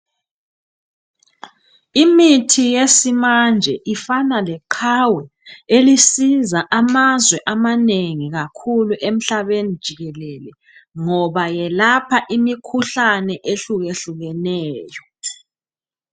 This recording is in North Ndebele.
Imithi yesimanje ifana leqhawe elisiza amazwe amanengi kakhuku emhlabeni jikelele ngoba yelapha imikhuhlane ehlukehlukeneyo.